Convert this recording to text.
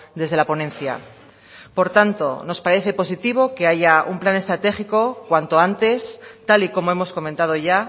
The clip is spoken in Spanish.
desde la ponencia por tanto nos parece positivo que haya un plan estratégico cuanto antes tal y como hemos comentado ya